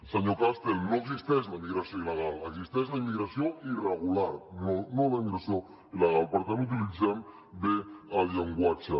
senyor castel no existeix la immigració il·legal existeix la immigració irregular no la immigració il·legal per tant utilitzem bé el llenguatge